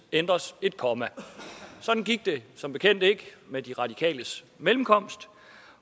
ændres et komma sådan gik det som bekendt ikke med de radikales mellemkomst